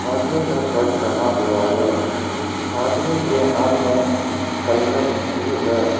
आदमी ने शर्ट पहना हुआ है आदमी के हाथ में हेलमेट भी है।